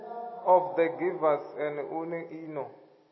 of the givers nḓuni ino